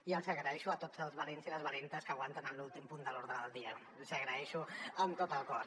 i els agraeixo a tots els valents i les valentes que aguanten en l’últim punt de l’ordre del dia els hi agraeixo amb tot el cor